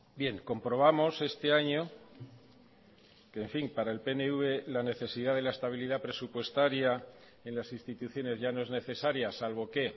bien comprobamos este año que en fin para el pnv la necesidad de la estabilidad presupuestaria en las instituciones ya no es necesaria salvo que